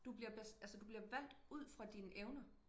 Du bliver altså du bliver valgt ud fra dine evner